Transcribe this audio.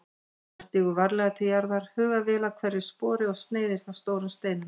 Hann stígur varlega til jarðar, hugar vel að hverju spori og sneiðir hjá stórum steinum.